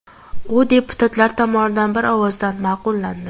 U deputatlar tomonidan bir ovozdan ma’qullandi.